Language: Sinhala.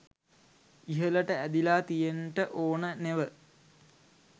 ඉහළට ඇදිලා තියෙන්ට ඕන නෙව.